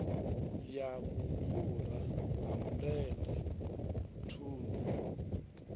ya vhufhura ha mundende thundu